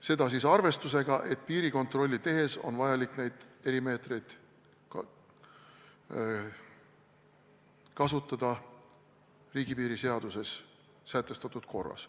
Seda siis arvestusega, et piirikontrolli tehes on vajalik neid erimeetmeid kasutada riigipiiri seaduses sätestatud korras.